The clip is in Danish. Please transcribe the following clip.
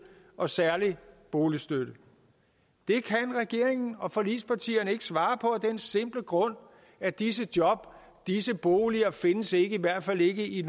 og særlig boligstøtte det kan regeringen og forligspartierne ikke svare på af den simple grund at disse jobs og disse boliger ikke findes i hvert fald ikke i